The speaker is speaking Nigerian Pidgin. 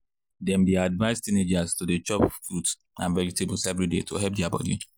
dem dey advise teenagers to dey chop fruit and vegetables every day to help their body.